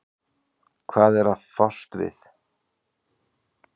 Hvað það er að fást við.